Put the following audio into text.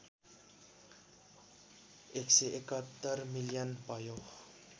१७१ million भयो